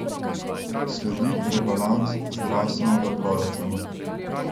Sledi rebalans zdravstvenega proračuna.